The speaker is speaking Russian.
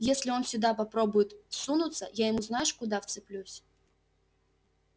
если он сюда попробует сунуться я ему знаешь куда вцеплюсь